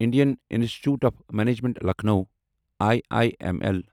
Indian institute of management Lucknow I I M L